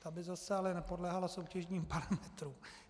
Ta by zase ale nepodléhala soutěžním parametrům.